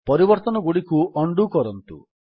ପରିବର୍ତ୍ତନଗୁଡ଼ିକୁ undo କରନ୍ତୁ